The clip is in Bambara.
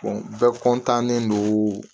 bɛɛ don